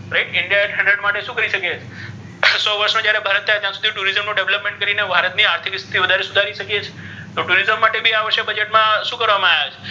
right india માટે શુ કરી શકીઍ છે ત્રણ્સો વર્ષ મા થયા ત્યારે ત્યા સુધી ભારત નુ tourism નુ developing કરીને ભારત નુ આર્થીક સ્થિતિ વધારે સુધારી શકીઍ છીઍ તો tourism માટે ભી આ વષે બજેટ મા શુ કરવામા આવ્યુ છે.